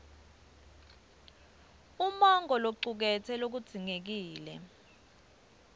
umongo locuketse lokudzingekile